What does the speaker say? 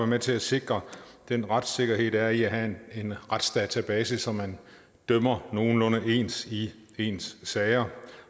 med til at sikre den retssikkerhed der er i at have en retsdatabase så man dømmer nogenlunde ens i ens sager